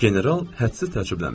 General hədsiz təəccüblənmişdi.